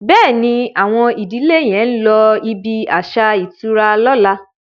Béèni Awon ìdílè yén ló ibí aṣa ìtura lọ̀la.